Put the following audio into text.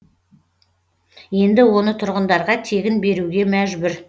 енді оны тұрғындарға тегін беруге мәжбүр